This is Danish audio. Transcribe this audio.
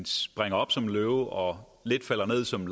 springer op som en løve og falder ned som